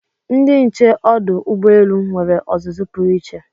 Ndị nche ọdụ ụgbọelu nwere ọzụzụ pụrụ iche